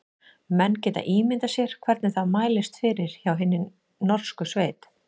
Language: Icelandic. Menn geta ímyndað sér hvernig það mælist fyrir hjá hinni horsku sveit.